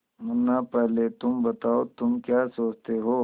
मुन्ना पहले तुम बताओ तुम क्या सोचते हो